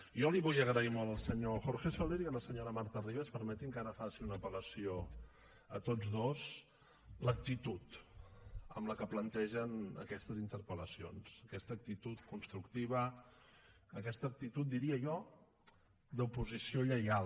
jo li vull agrair molt al senyor jorge soler i a la senyora marta ribas permetin me que ara faci una apel·lació a tots dos l’actitud amb què plantegen aquestes interpel·lacions aquesta actitud constructiva aquesta actitud diria jo d’oposició lleial